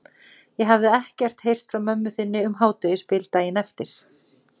Ég hafði ekkert heyrt frá mömmu þinni um hádegisbil daginn eftir.